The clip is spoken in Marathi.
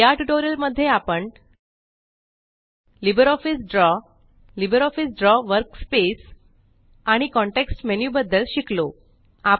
या ट्यूटोरियल मध्ये आपण LibreOffice Draw LibreOffice Draw workspace आणि कॉन्टेक्स्ट मेनू बद्दल शिकलो